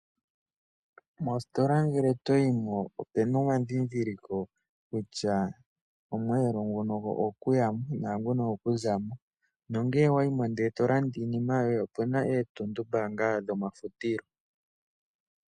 Mositola ngele toyi mo ope na omandhindhiliko kutya omwelo nguka ogo ku ya mo naanguka ogo ku za mo. Nongele owa yi mo e to landa iinima yoye omu na etundumbaanga dhomafutilo.